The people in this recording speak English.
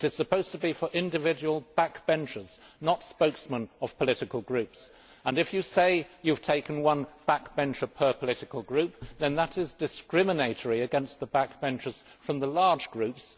It is supposed to be for individual backbenchers, not spokesmen of political groups, and if you say you have taken one backbencher per political group, then that is discriminatory against the backbenchers from the large groups.